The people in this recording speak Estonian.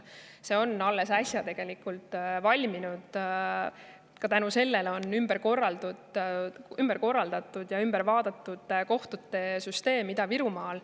See on alles äsja valminud ja tänu sellele on ümber korraldatud kogu kohtute süsteem Ida-Virumaal.